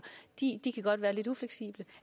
godt kan være lidt ufleksible